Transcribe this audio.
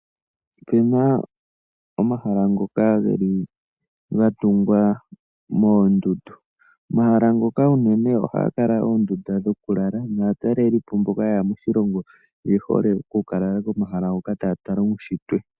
Opena omahala ngoka geli gatungwa moondunda. Omahala ngoka uunene ohaga kala oondundu dhokulala naatalelipo mboka yeya moshilongo oye hole oku kalala komahala ngoka taya tala oondundu.